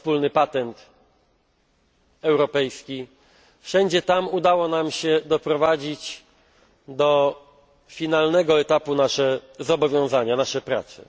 wspólny patent europejski wszędzie tam udało nam się doprowadzić do finalnego etapu nasze zobowiązania, zakończyć nasze prace.